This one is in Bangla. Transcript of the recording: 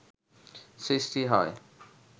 সৃষ্টি হয়